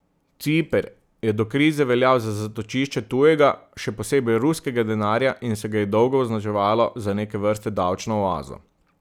Ciper je do krize veljal za zatočišče tujega, še posebej ruskega denarja, in se ga je dolgo označevalo za neke vrste davčno oazo.